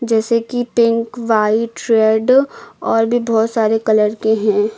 जैसे कि pink white red और भी बहुत सारे कलर के हैं।